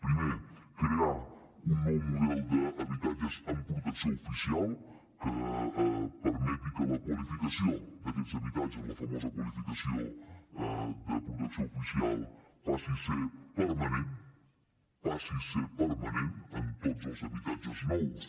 primer crear un nou model d’habitatges amb protecció oficial que permeti que la qualificació d’aquests habitatges la famosa qualificació de protecció oficial passi a ser permanent passi a ser permanent en tots els habitatges nous